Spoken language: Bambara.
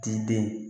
T'i den